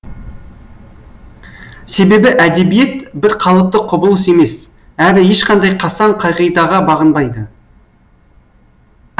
себебі әдебиет бір қалыпты құбылыс емес әрі ешқандай қасаң қағидаға бағынбайды